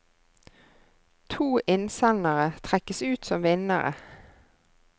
To innsendere trekkes ut som vinnere.